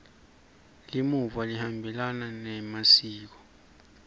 limuva lihambelana nemasiko